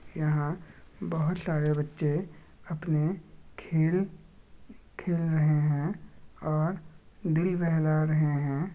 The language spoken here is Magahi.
यहाँ बहुत सारे बच्चे अपने खेल खेल रहे हैं ओर दिल बहला रहे हैं ।